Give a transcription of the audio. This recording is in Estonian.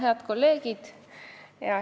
Head kolleegid!